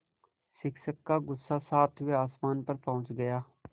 शिक्षक का गुस्सा सातवें आसमान पर पहुँच गया